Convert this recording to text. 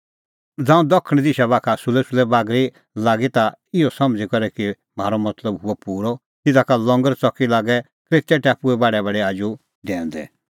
ज़ांऊं दखण दिशा बाखा सुलैसुलै बागरी लागी ता इहअ समझ़ी करै कि म्हारअ मतलब हुअ पूरअ तिधा का लंगर च़की लागै क्रेतै टापुए बाढैबाढै आजू डैऊंदै